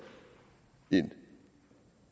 en